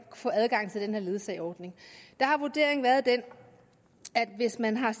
få adgang til den her ledsageordning der har vurderingen været den at hvis man har